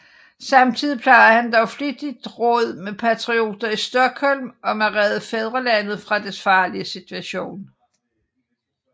Samtidig plejede han dog flittigt råd med patrioter i Stockholm om at redde fædrelandet fra dets farlige situation